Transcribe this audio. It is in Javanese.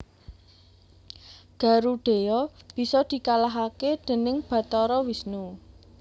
Garudheya bisa dikalahaké dèning Bathara Wisnu